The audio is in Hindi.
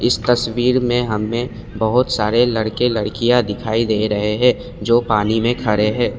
इस तस्वीर में हमें बहुत सारे लड़के लड़कियाँ दिखाई दे रहे हैं जो पानी में खड़े है।